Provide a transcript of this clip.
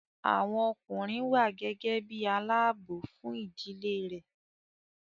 Àwọn ọkùnrin wà gẹ́gẹ́ bí i aláààbò fún ìdílé rẹ̀